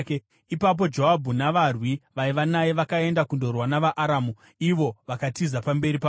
Ipapo Joabhu navarwi vaiva naye vakaenda kundorwa navaAramu, ivo vakatiza pamberi pavo.